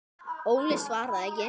Óli svaraði ekki.